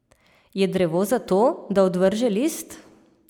Je drevo zato, da odvrže list?